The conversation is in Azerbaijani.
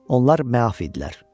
Onlar məaf idilər.